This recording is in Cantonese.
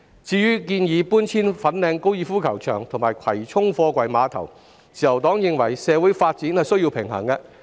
至於搬遷粉嶺高爾夫球場及葵涌貨櫃碼頭的建議，自由黨認為政府應平衡社會及發展需要。